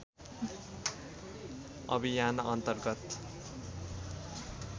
अभियान अन्तर्गत